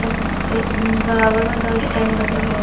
और ये बराबर में दो स्टैंड ह--